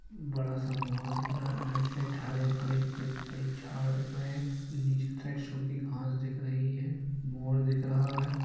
बड़ा सा मोर दिख रहा है आई साइड हरे-भरे बड़े-बड़े झाड़ दिख रहें हैं नीचे साइड सुखी घास दिख रही है मोर दिख रहा है।